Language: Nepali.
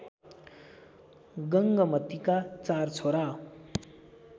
गंगमतीका चार छोरा